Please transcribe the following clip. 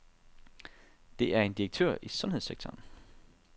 Det er en direktør i sundhedssektoren.